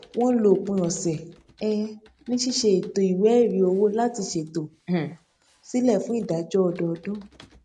wọn lo òpin ọsẹ um ní ṣíṣe ètò ìwé ẹrí owó láti ṣtò um sílẹ fún ìdájọ ọdọọdún